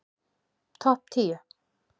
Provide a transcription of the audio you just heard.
Topp tíu